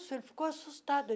Ele ficou assustado.